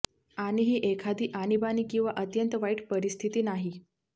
आणि ही एखादी आणीबाणी किंवा अत्यंत वाईट परिस्थिती नाही